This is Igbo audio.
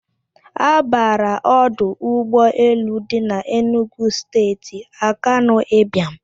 A bara ọdụ ụgbọ elu dị n'Enugwu Steeti Akanụ Ịbịam.